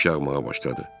Yağış yağmağa başladı.